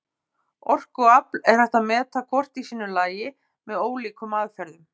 Orku og afl er hægt að meta hvort í sínu lagi með ólíkum aðferðum.